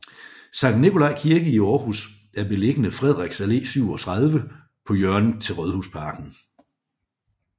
Sankt Nikolaj Kirke i Aarhus er beliggende Frederiks Allé 37 på hjørnet til Rådhusparken